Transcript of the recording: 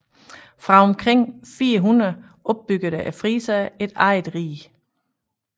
Fra omkring 400 opbyggede friserne et eget rige